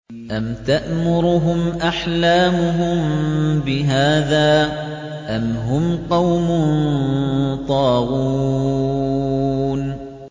أَمْ تَأْمُرُهُمْ أَحْلَامُهُم بِهَٰذَا ۚ أَمْ هُمْ قَوْمٌ طَاغُونَ